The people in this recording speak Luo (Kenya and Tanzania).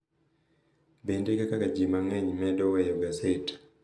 Bende, kaka ji mang’eny medo weyo gaset, .